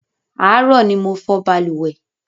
Àárọ̀ ni mo fọ̀ balùwẹ̀